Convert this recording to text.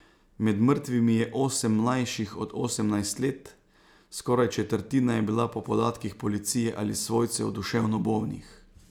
Med mrtvimi je osem mlajših od osemnajst let, skoraj četrtina je bila po podatkih policije ali svojcev duševno bolnih.